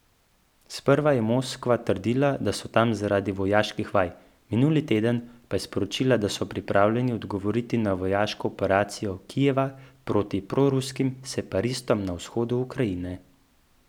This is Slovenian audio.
Sprva je Moskva trdila, da so tam zaradi vojaških vaj, minuli teden pa je sporočila, da so pripravljeni odgovoriti na vojaško operacijo Kijeva proti proruskim separatistom na vzhodu Ukrajine.